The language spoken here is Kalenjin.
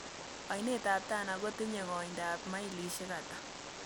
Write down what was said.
Aineetap tana kotinye kooindap mailisiek ata